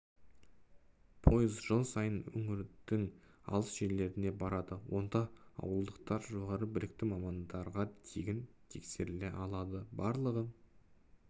пойыз жыл сайын өңірдің алыс жерлеріне барады онда ауылдықтар жоғары білікті мамандарға тегін тексеріле алады барлығы